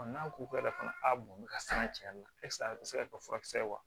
n'a ko kɛra fana a bɔnbɔn ka se ka cɛnna ese a te se ka kɛ furakisɛ ye wa